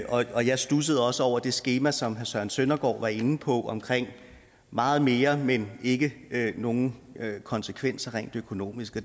jeg studsede også over det skema som herre søren søndergaard var inde på omkring meget mere men ikke nogen konsekvenser rent økonomisk